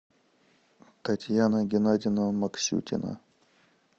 татьяна геннадьевна максютина